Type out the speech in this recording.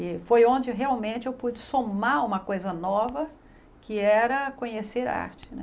E foi onde realmente eu pude somar uma coisa nova, que era conhecer a arte, né?